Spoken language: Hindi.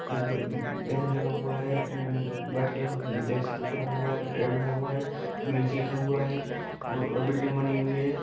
एक बैनर लगा हुआ है व्हाइट कलर का ब्लैक सा पट्टा बना हुआ है रेड बना हुआ है ग्रीन से लिखा हुआ है और बिल्डिंग बनी हुई है।